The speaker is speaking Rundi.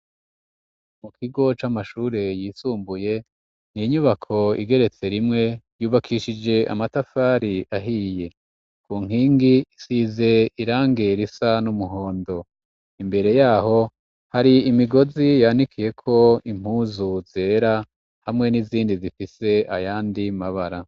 Mukigo c'amashure yisumbuye n'inyubako igeretse rimwe yubakishije amatafari ahiye, kunkingi isize irangi risa n'umuhondo imbere yaho hari imigozi yanikiyeko impuzu zera hamwe n'izindi zifise ayandi mabara.